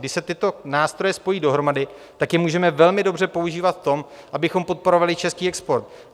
Když se tyto nástroje spojí dohromady, tak je můžeme velmi dobře používat v tom, abychom podporovali český export.